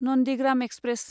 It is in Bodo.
नन्दिग्राम एक्सप्रेस